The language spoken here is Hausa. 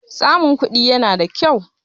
Samun kuɗi yana da kyau.